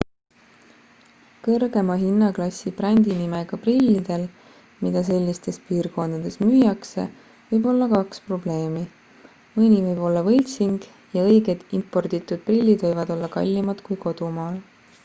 kõrgema hinnaklassi brändinimega prillidel mida sellistes piirkondades müüakse võib olla kaks probleemi mõni võib olla võltsing ja õiged importitud prillid võivad olla kallimad kui kodumaal